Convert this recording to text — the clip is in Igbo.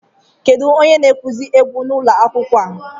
Kedu onye na-akụzi egwu n'ụlọ akwụkwọ?